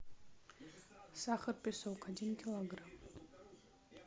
сахар песок один килограмм